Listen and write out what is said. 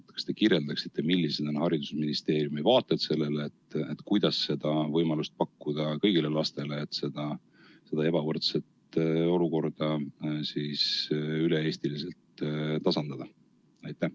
Kas te kirjeldaksite, millised on haridusministeeriumi vaated sellele, kuidas seda võimalust pakkuda kõigile lastele ja seda ebavõrdset olukorda üle-eestiliselt tasandada?